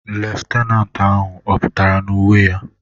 Leftenanti ahụ ọ pụtara na uwe ya?